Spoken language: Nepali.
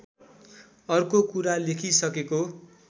अर्को कुरा लेखिसकेको